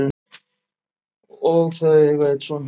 og eiga þau einn son.